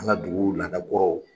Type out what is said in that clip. An ka dugu laada kɔrɔw